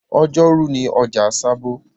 Ọjọ́rú ni ọjà sábó